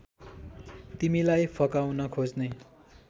तिमीलाई फकाउन खोज्ने